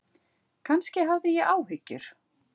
Kannski hafði ég áhyggjur.